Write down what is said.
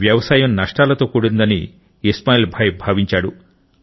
వ్యవసాయం నష్టాలతో కూడినదని ఇస్మాయిల్ భాయ్ భావించాడు